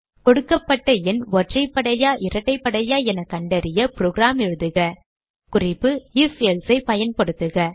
கொடுக்கப்பட்ட எண் ஒற்றைப்படையா இரட்டைப்படையா என கண்டறிய புரோகிராம் எழுதுககுறிப்பு ifஎல்சே ஐ பயன்படுத்துக